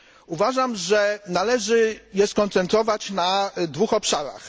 Uważam, że należy je skoncentrować na dwóch obszarach.